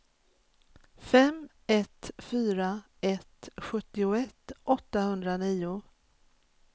fem ett fyra ett sjuttioett åttahundranio